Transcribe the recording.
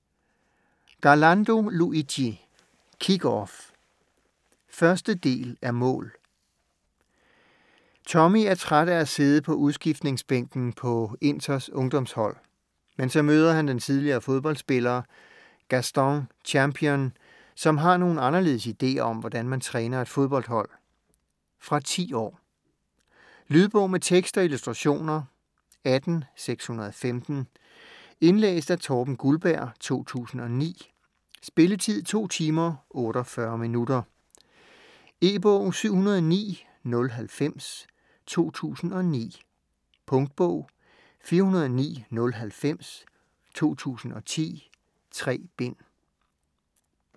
Garlando, Luigi: Kick off 1. del af Mål! Tommi er træt af at sidde på udskiftningsbænken på Inters ungdomshold. Men så møder han den tidligere fodboldspiller Gaston Champignon, som har nogle anderledes ideer om hvordan man træner et fodboldhold. Fra 10 år. Lydbog med tekst og illustrationer 18615 Indlæst af Torben Guldberg, 2009. Spilletid: 2 timer, 48 minutter. E-bog 709090 2009. Punktbog 409090 2010. 3 bind.